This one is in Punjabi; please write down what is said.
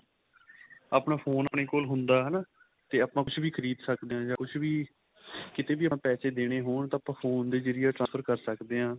ਆਪਣਾ phone ਆਪਣੇ ਕੋਲ ਹੁੰਦਾ ਹਨਾ ਤੇ ਆਪਾਂ ਕੁੱਝ ਵੀ ਖਰੀਦ ਸਕਦੇ ਆ ਜਾਂ ਕੁੱਝ ਵੀ ਕੀਤੇ ਵੀ ਆਪਾਂ ਪੈਸੇ ਦੇਣੇ ਹੋਣ ਤਾਂ ਆਪਾਂ phone ਦੇ ਜਰੀਏ transfer ਕਰ ਸਕਦੇ ਆ